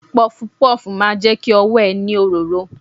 Pọfupọ́ọ̀fù máa jẹ ki ọwọ́ ẹ ní òróró.